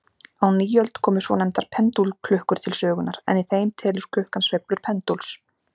Á nýöld komu svonefndar pendúlklukkur til sögunnar, en í þeim telur klukkan sveiflur pendúls.